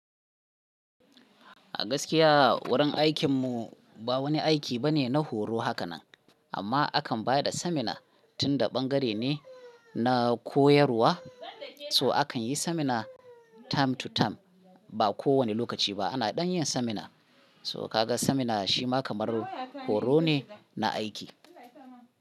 A gaskiya wurin aikin mu ba wani aiki bane na horo haka nan amma akan ba da seminar tunda ɓangare ne na koyarwa. So akan yi seminar time to time ba ko wane lokaci ba. Ana ɗan yin seminar. So ka ga seminar shi ma kamar horo ne na aiki.